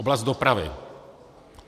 Oblast dopravy.